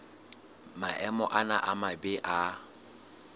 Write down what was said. maemo ana a mabe a